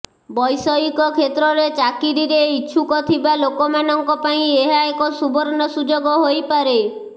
ବୈଷୟିକ କ୍ଷେତ୍ରରେ ଚାକିରିରେ ଇଚ୍ଛୁକଥିବା ଲୋକ ମାନଙ୍କ ପାଇଁ ଏହା ଏକ ସୁବର୍ଣ୍ଣ ସୁଯୋଗ ହୋଇପାରେ